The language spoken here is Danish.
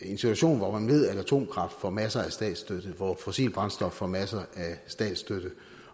situation hvor man ved at atomkraft får masser af statsstøtte hvor fossile brændstoffer får masser af statsstøtte